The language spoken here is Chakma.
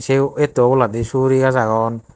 eo etto oboladi suguri gaaj agon.